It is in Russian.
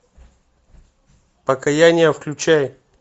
покаяние включай